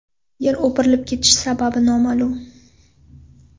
Yer o‘pirilib ketishi sababi noma’lum.